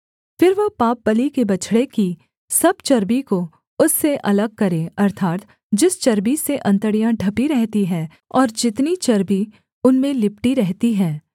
फिर वह पापबलि के बछड़े की सब चर्बी को उससे अलग करे अर्थात् जिस चर्बी से अंतड़ियाँ ढपी रहती हैं और जितनी चर्बी उनमें लिपटी रहती है